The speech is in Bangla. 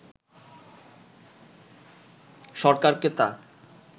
সরকারকে তা